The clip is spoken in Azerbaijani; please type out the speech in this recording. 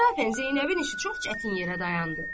İnsafən Zeynəbin işi çox çətin yerə dayandı.